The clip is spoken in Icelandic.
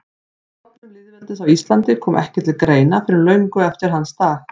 Stofnun lýðveldis á Íslandi kom ekki til greina fyrr en löngu eftir hans dag.